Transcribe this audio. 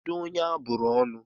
Kedụ onye a bụrụ ọnụ?